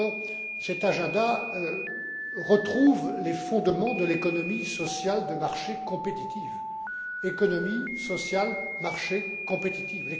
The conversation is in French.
Andor, cet agenda retrouve les fondements de l'économie sociale de marché compétitive économie, sociale, marché, compétitive.